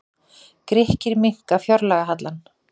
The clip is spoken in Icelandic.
Grikkir minnka fjárlagahallann